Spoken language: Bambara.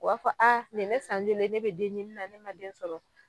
O b'a fɔ a nin ye ne san joli ye ne be den ɲini na ne ma den sɔrɔ